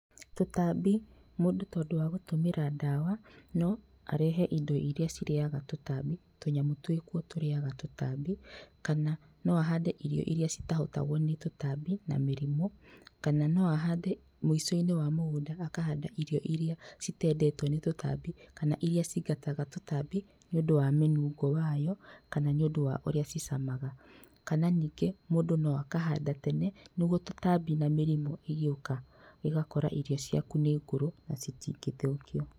Tũtambi, mũndũ tondũ wa gũtũmĩra ndawa no arehe indo irĩa cirĩyaga tũtambi, tũnyamũ twĩkuo tũrinyaga tũtambi kana no ahande irio irĩa citahotagwo nĩ tũtambi na mĩrimũ kana no ahande mũico-inĩ wa mũgũnda akahanda irio irĩa citendetwo nĩ tũtambi kana irĩa cingataga tũtambi niũndũ wa mĩnungo wayo kana nĩũndũ wa ũrĩa cicamaga kana ningĩ mũndũ no akahanda tene nĩguo tũtambi na mĩrimũ igĩũka ĩgakora irio ciaku nĩ ngũrũ na citingĩthũkio.